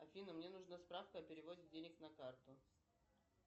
афина мне нужна справка о переводе денег на карту